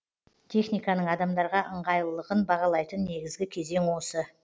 техниканың адамдарға ыңғайлылығын бағалайтын негізгі кезең осы